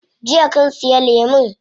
Jiya kun siya lemun?